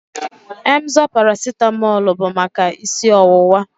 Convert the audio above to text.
Emzor paracetamol bụ maka isi ọwụwa